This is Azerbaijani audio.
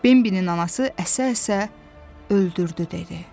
Bembinin anası əsə-əsə öldürdü dedi.